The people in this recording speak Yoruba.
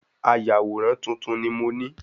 Ayàwòrán tuntun ni mó ni